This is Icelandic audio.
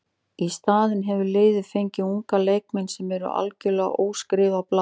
Í staðinn hefur liðið fengið unga leikmenn sem eru algjörlega óskrifað blað.